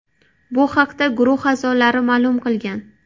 Bu haqda Guruh a’zolari ma’lum qilgan .